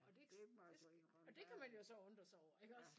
Og det det og det kan man jo så undre sig over iggås